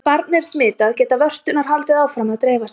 Ef barn er smitað geta vörturnar haldið áfram að dreifa sér.